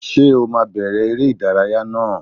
Ṣé o máa bẹ̀rẹ̀ èrè ìdárayá náà!